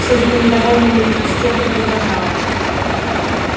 судя по недовольному лицу стебль возражала